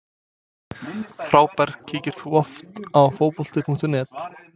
Frábær Kíkir þú oft á Fótbolti.net?